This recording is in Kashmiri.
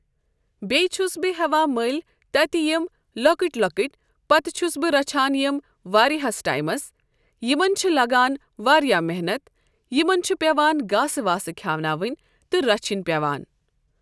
بیٚیہِ چھُس بہٕ ہٮ۪وان مٔلۍ تتہِ یِم لۄکٕٹۍ لۄکٕٹۍ پَتہٕ چھُس بہٕ رَچھان یِم واریاہَس ٹایمَس یِمن چھِ لگان واریاہ محنت یِمن چھُ پیوان گاسہٕ واسہٕ کھٮ۪اناوٕنۍ تہٕ رَچھٕنۍ پیوان۔